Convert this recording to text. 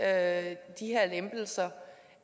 at lempelserne